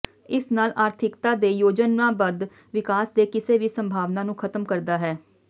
ਇਸ ਨਾਲ ਆਰਥਿਕਤਾ ਦੇ ਯੋਜਨਾਬੱਧ ਵਿਕਾਸ ਦੇ ਕਿਸੇ ਵੀ ਸੰਭਾਵਨਾ ਨੂੰ ਖਤਮ ਕਰਦਾ ਹੈ